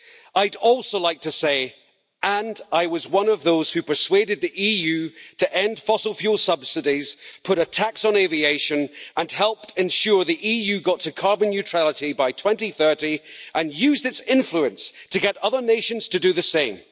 I'd also like to say and I was one of those who persuaded the EU to end fossil fuel subsidies, put a tax on aviation and helped ensure the EU got to carbon neutrality by 2030 and used its influence to get other nations to do the same.